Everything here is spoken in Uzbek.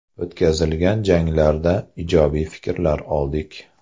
O‘tkazilgan janglarda ijobiy fikrlar oldik.